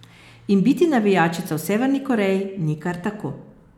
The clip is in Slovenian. In biti navijačica v Severni Koreji ni kar tako.